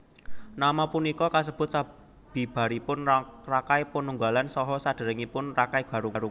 Nama punika kasebut sabibaripun Rakai Panunggalan saha saderengipun Rakai Garung